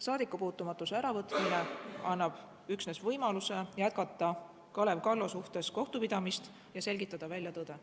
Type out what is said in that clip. Saadikupuutumatuse äravõtmine annab üksnes võimaluse jätkata Kalev Kallo suhtes kohtupidamist ja selgitada välja tõde.